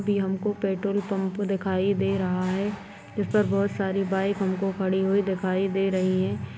भी हमको petrol pump दिखाई दे रहा है जिस पर बहुत सारी बाइक हमको खड़ी हुई दिखाई दे रही हैं।